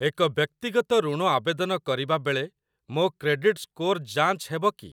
ଏକ ବ୍ୟକ୍ତିଗତ ଋଣ ଆବେଦନ କରିବା ବେଳେ ମୋ କ୍ରେଡିଟ ସ୍କୋର ଯାଞ୍ଚ ହେବ କି?